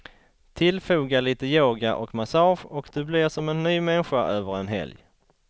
Tillfoga lite yoga och massage och du blir som en ny människa över en helg.